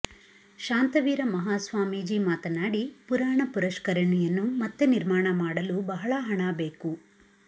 ಶಾಂತವೀರ ಮಹಾಸ್ವಾಮೀಜಿ ಮಾತನಾಡಿ ಪುರಾಣ ಪುಷ್ಕರಣಿಯನ್ನು ಮತ್ತೆ ನಿರ್ಮಾಣ ಮಾಡಲು ಬಹಳ ಹಣ ಬೇಕು